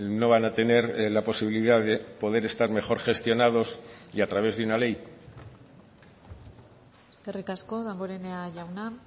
no van a tener la posibilidad de poder estar mejor gestionados y a través de una ley eskerrik asko damborenea jauna